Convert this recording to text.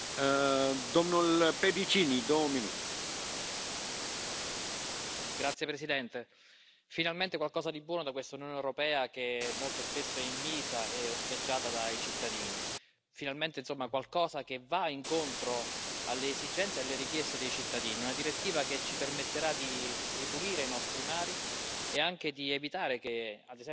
Signor Presidente, onorevoli colleghi, finalmente qualcosa di buono da questa Unione europea che molto spesso è invisa e osteggiata dai cittadini. Finalmente, insomma, qualcosa che va incontro alle esigenze e alle richieste dei cittadini, una direttiva che ci permetterà di ripulire i nostri mari e anche di evitare che, ad esempio, nel 2050 vi sia più plastica